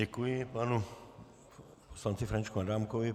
Děkuji panu poslanci Františku Adámkovi.